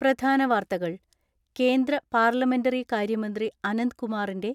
പ്രധാന വാർത്തകൾ കേന്ദ്ര പാർലമെന്ററി കാര്യമന്ത്രി അനന്ത്കുമാറിന്റെ